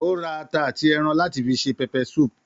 Ó ra ata àti ẹran láti fi se pepper soup